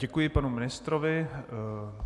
Děkuji panu ministrovi.